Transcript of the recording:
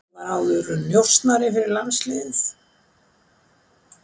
Ég var áður njósnari fyrir landsliðið.